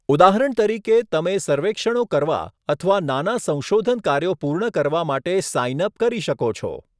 ઉદાહરણ તરીકે, તમે સર્વેક્ષણો કરવા અથવા નાના સંશોધન કાર્યો પૂર્ણ કરવા માટે સાઇન અપ કરી શકો છો.